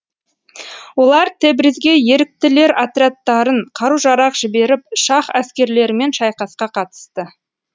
олар тебризге еріктілер отрядтарын қару жарақ жіберіп шаһ әскерлерімен шайқасқа қатысты